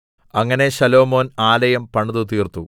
അങ്ങനെ ശലോമോൻ ആലയം പണിതുതീർത്തു